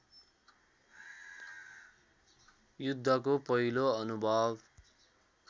युद्धको पहिलो अनुभव